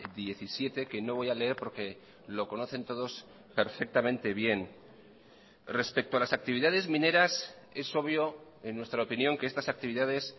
diecisiete que no voy a leer porque lo conocen todos perfectamente bien respecto a las actividades mineras es obvio en nuestra opinión que estas actividades